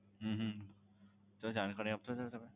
હમ તો જાણકારી આપશો sir તમે?